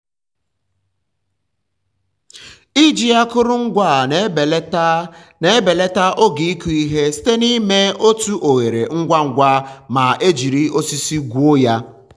iji akụrụngwa a na-ebelata na-ebelata oge ịkụ ihe site n'ime otu oghere ngwa ngwa ma e jiri osisi gwuo ya.